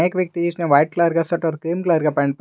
एक व्यक्ति इसमें व्हाईट कलर का शर्ट और क्रीम कलर पेंट पहना--